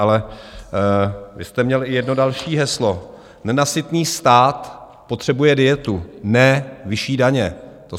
Ale vy jste měl i jedno další heslo: "Nenasytný stát potřebuje dietu, ne vyšší daně."